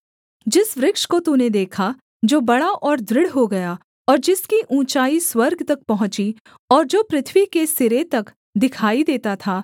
जिस वृक्ष को तूने देखा जो बड़ा और दृढ़ हो गया और जिसकी ऊँचाई स्वर्ग तक पहुँची और जो पृथ्वी के सिरे तक दिखाई देता था